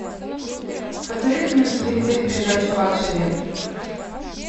посоветуй мне на телевизоре передачу лакшери